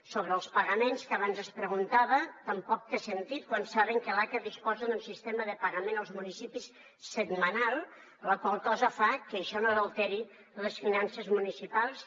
sobre els pagaments que abans es preguntava tampoc té sentit quan saben que l’aca disposa d’un sistema de pagament als municipis setmanal la qual cosa fa que això no alteri les finances municipals